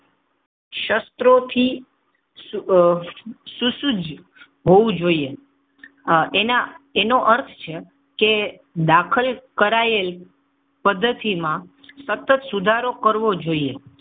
શસ્ત્રોથી આહ સુસજ્જ હોવું જોઈએ. એનો અર્થ છે કે દાખલ કરાયેલ પદ્ધતિમાં સતત સુધારો કરવો જોઈએ.